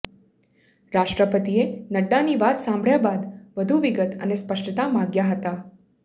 રાષ્ટ્રપતિએ નડ્ડાની વાત સાંભળ્યા બાદ વધુ વિગત અને સ્પષ્ટતા માગ્યા હતા